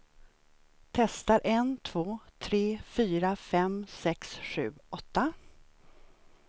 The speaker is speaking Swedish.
Testar en två tre fyra fem sex sju åtta.